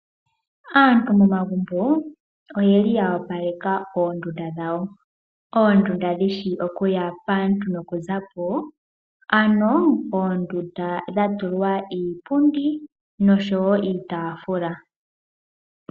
Aantu momagumbo oyeli ya opaleka oondunda dhawo. Oondunda dhi shi okuya paantu noku zapo ano oondunda dha tulwa iipundi noshowo iitaafula.